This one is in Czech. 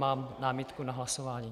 Mám námitku na hlasování.